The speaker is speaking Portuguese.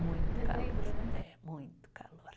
Muito calor. Dezembro, né? É, muito calor